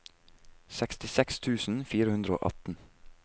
sekstiseks tusen fire hundre og atten